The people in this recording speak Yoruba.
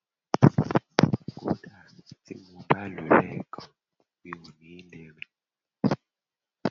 kódà tí mi ò bá lò óo lẹẹkan mi ò ní lè rìn